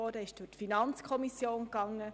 Sie wurde von der FiKo vorberaten.